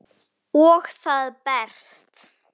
Og það berst.